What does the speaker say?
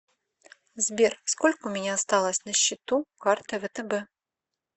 сбер сколько у меня осталось на счету карты втб